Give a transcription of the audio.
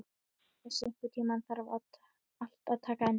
Bessi, einhvern tímann þarf allt að taka enda.